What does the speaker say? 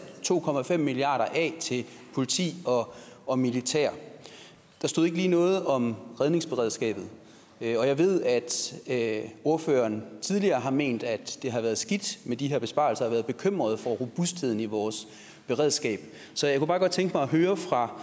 to milliard af til politi og militær der stod ikke lige noget om redningsberedskabet og jeg ved at at ordføreren tidligere har ment at det har været skidt med de her besparelser og været bekymret for robustheden i vores beredskab så jeg kunne bare godt tænke mig at høre fra